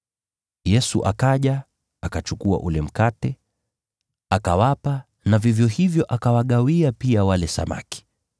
Yesu akaja, akachukua ule mkate, akawapa na vivyo hivyo akawagawia pia wale samaki.